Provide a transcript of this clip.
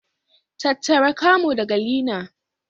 Tattara camo daga leaner.